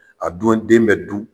A dun den bɛ dun.